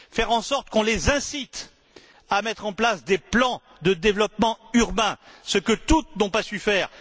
Faire en sorte qu'on les incite à mettre en place des plans de développement urbain, ce que toutes n'ont pas su faire.